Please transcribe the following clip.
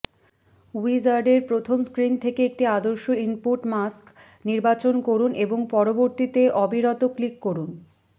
উইজার্ডের প্রথম স্ক্রিন থেকে একটি আদর্শ ইনপুট মাস্ক নির্বাচন করুন এবং পরবর্তীতে অবিরত ক্লিক করুন